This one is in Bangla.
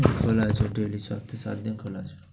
খোলা আছে, daily সপ্তাহে সাত দিন খোলা আছে।